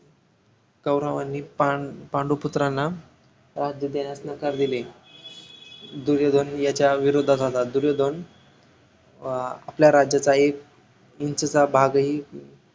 कौरवांनी पांडू पुत्रांना राज्य देण्यास नकार दिले दुर्योधन याच्या विरोधात होता दुर्योधन अं आपल्या राज्याचा एक INCH चा भागही